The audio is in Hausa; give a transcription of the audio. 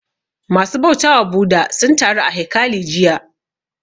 Ma su bautawa Bhudha sun taru a haikali jiya